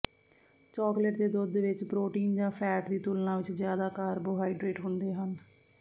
chocolate ਦੇ ਦੁੱਧ ਵਿਚ ਪ੍ਰੋਟੀਨ ਜਾਂ ਫੈਟ ਦੀ ਤੁਲਨਾ ਵਿਚ ਜ਼ਿਆਦਾ ਕਾਰਬੋਹਾਈਡਰੇਟ ਹੁੰਦੇ ਹਨ